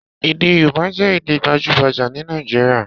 Èdè Yorùbá jẹ́ Èdè gbajúgbajà ní Nàìjíríà